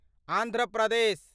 Andhra Pradesh